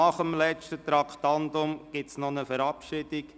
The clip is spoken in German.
Nach diesem gibt es noch eine Verabschiedung.